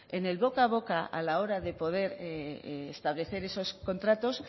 en el boca a boca a la hora de poder establecer esos contratos